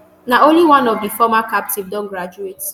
na only one of di former captive don graduate